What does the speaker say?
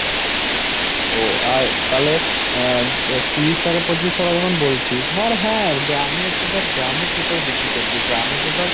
ও আর তালে অ্যাঁ তিরিশ টাকা পঁচিশ টাকা যখন বলছিস আর হ্যাঁ গ্রামে তো তোর গ্রামে কি করে বিক্রি করবি? গ্রামে তো ধর